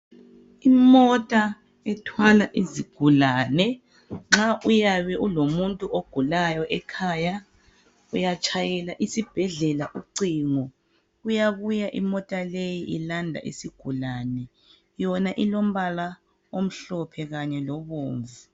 Imota ethwala izigulane nxa uyabe ulomuntu ogulayo ekhaya. Uyatshayela isibhedlela ucingo. Kuyabuya imota leyi ilanda isigulane. Yona ilombala omhlophe kanye lobomvu.